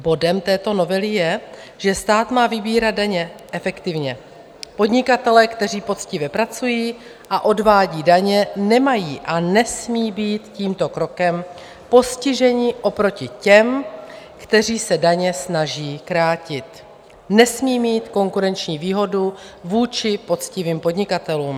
Podnikatelé, kteří poctivě pracují a odvádí daně, nemají a nesmí být tímto krokem postiženi, oproti těm, kteří se daně snaží krátit - nesmí mít konkurenční výhodu vůči poctivým podnikatelům.